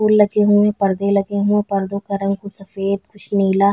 फूल लगे हुए पर्दे लगे हुए पर्दो का रंग कुछ सफ़ेद कुछ नीला--